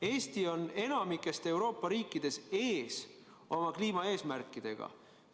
Eesti on enamikust Euroopa riikidest oma kliimaeesmärkidega ees.